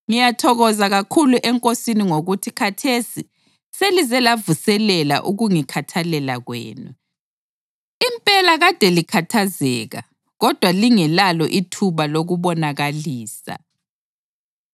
Ngiyathokoza kakhulu eNkosini ngokuthi khathesi selize lavuselela ukungikhathalela kwenu. Impela kade likhathazeka kodwa lingelalo ithuba lokukubonakalisa.